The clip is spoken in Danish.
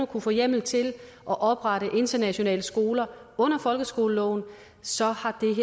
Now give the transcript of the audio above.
kunne få en hjemmel til at oprette internationale skoler under folkeskoleloven så